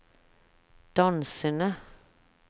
dansende